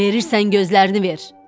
Verirsən gözlərini ver.